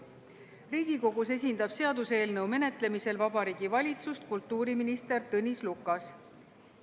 Riigikogus esindab seaduseelnõu menetlemisel Vabariigi Valitsust kultuuriminister Tõnis Lukas.